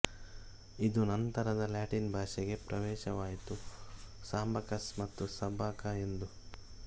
ಇದು ನಂತರ ಲಾಟಿನ್ ಭಾಷೆಗೆ ಪ್ರಾವೇಶವಾಯಿತು ಸಾಂಬಾಕಸ್ ಮತ್ತುಸಾಬ್ಬಾಕಾ ಎಂದು